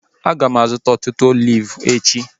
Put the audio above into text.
Aga m azụta ọtụtụ oliv echi